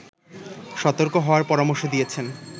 সতর্ক হওয়ার পরামর্শ দিয়েছেন